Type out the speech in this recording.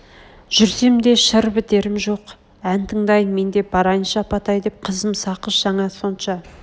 жүрсем де шыр бітерм жоқ ән тыңдайын мен де барайыншы апатай деп қызым сақыш жаңа сонша